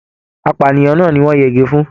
Apànìyàn náà ní wọn yẹgi fún.